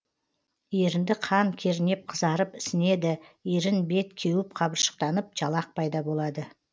ерінді қан кернеп қызарып ісінеді ерін бет кеуіп қабыршықтанып жалақ пайда болады